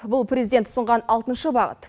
бұл президент ұсынған алтыншы бағыт